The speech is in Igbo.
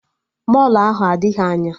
Mọlụ ahụ adịghị anya